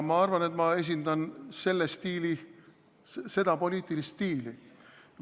Ma arvan, et ma esindan tema poliitilist stiili.